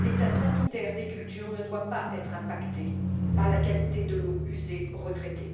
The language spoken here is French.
l'état sanitaire des cultures ne doit pas être impacté par la qualité de l'eau usée retraitée.